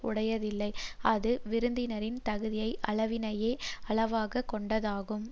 உடையதில்லை அது விருந்தினரின் தகுதி அளவினையே அளவாக கொண்டதாகும்